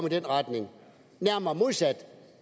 i den retning nærmere modsat